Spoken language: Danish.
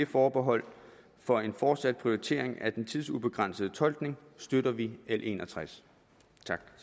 forbehold for en fortsat prioritering af den tidsubegrænsede tolkning støtter vi l en og tres